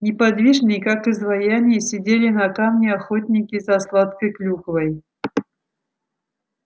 неподвижные как изваяния сидели на камне охотники за сладкой клюквой